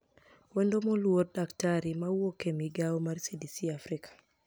Wenido moluor Dkt mawuoke e migao mar CDCafrika